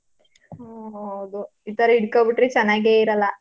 ಹ್ಮ್ ಹೌದು. ಈ ತರ ಹಿಡ್ಕಬಿಟ್ರೆ ಚನ್ನಾಗೇ ಇರಲ್ಲ.